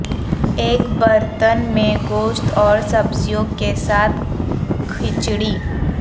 ایک برتن میں گوشت اور سبزیوں کے ساتھ کھچڑی